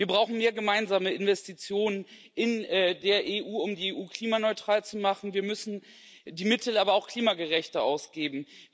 Wir brauchen mehr gemeinsame Investitionen in der EU, um die EU klimaneutral zu machen, wir müssen die Mittel aber auch klimagerechter ausgeben.